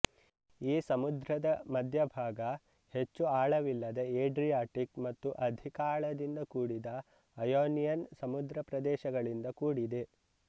ಈ ಸಮುದ್ರದ ಮಧ್ಯಭಾಗ ಹೆಚ್ಚು ಆಳವಿಲ್ಲದ ಏಡ್ರಿಯಾಟಿಕ್ ಮತ್ತು ಅಧಿಕ ಆಳದಿಂದ ಕೂಡಿದ ಅಯೋನಿಯನ್ ಸಮುದ್ರ ಪ್ರದೇಶಗಳಿಂದ ಕೂಡಿದೆ